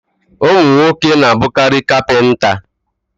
Ụmụ nwoke n'abụkarị kapịnta